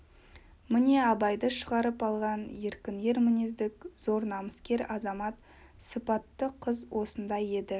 міне абайды шығарып алған еркін ер мінездк зор намыскер азамат сыпатты қыз осындай еді